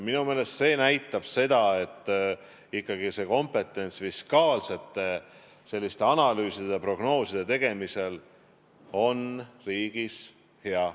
Minu meelest see näitab, et fiskaalsete analüüside ja prognooside tegemise kompetents on riigis hea.